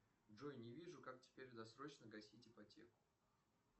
джой не вижу как теперь досрочно гасить ипотеку